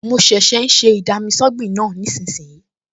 Mo ṣẹ̀ṣẹ̀ ń ṣe ì-dami-sọ́gbìn náà nísinsìnyí